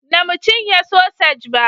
Na mu cinye sosaj ba